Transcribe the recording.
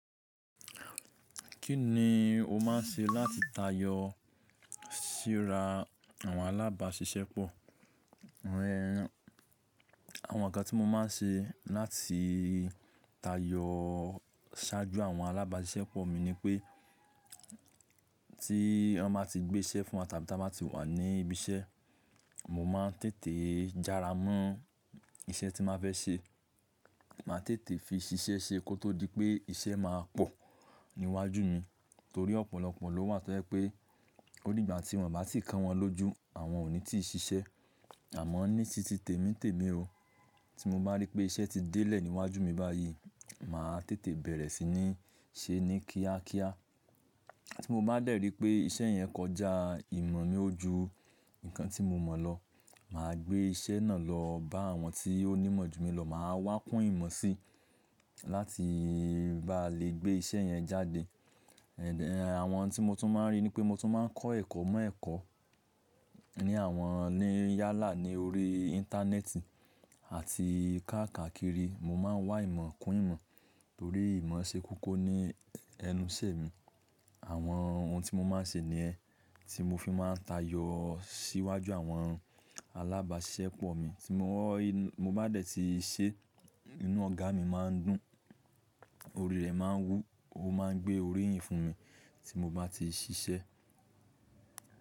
Kíni o máa ń ṣe láti tayọ síra àwọn alábàáṣiṣẹ́ pọ̀? Awọn nǹkan tí mo máa ń ṣe láti tayọ ṣáájú àwọn alábáṣiṣẹ́ pọ̀ mi ni pé, tí wọ́n ba ti gbé iṣẹ́ fún wa tàbí tí a ma ti wà ní ibi iṣẹ́, mo máa ń tètè jára mọ́ iṣẹ́ tí n ba fẹ́ ṣe. Máa tètè fi ṣiṣẹ́ ṣe kó tó di pé iṣẹ́ máa pọ̀ níwájú mi. Nítorí ọ̀pọ̀lọpọ̀ ló wà tó jẹ́ pé ó nígbà tí wọ́n bà tí kan wọn lójú, àwọn ò ní tí ì ṣiṣẹ́. Àmọ́ ní títì tèmi tèmi o, tí mo bá rí pé iṣẹ́ ti délẹ̀ níwájú mi báyìí, màá tètè bẹ̀rẹ̀ sí ní ṣe ní kíákíá. Tí mo bá dẹ̀ rí pé iṣẹ́ yẹn kọjá ìmọ̀ mi ó ju nǹkan tí mo mọ̀ lọ, mà á gbé iṣẹ́ náà lọ bá àwọn tí ó ní imọ́ ju mi lọ. Mà á wá kún ìmọ̀ sí láti bá lè gbé iṣẹ́ yẹn jáde. Àwọn tí mo tún máa ń rí ni pé mo tún máa ń kọ́ ẹ̀kọ́ mọ́ ẹ̀kọ́ ní àwọn yálà ní orí Íńtánẹ́ẹ̀tì àti káàkakiri. Mo máa ń wá ìmọ̀ kún ìmọ̀ nítorí ìmọ̀ ṣe koko ní ẹnu ìṣẹ́ mi. Àwọn ohun tí mo máa ń ṣe nìyẹn tí mo fi máa ń tayọ síwájú àwọn alábáṣiṣẹ́ pọ̀ mi. Tí mo bá dẹ̀ ti ṣe, inú ọ̀gá mi máa ń dùn, orí rẹ̀ máa ń wú, ó máa ń gbé orí yìí fún mi tí mo bá ti ṣiṣẹ́.